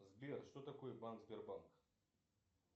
сбер что такое банк сбербанк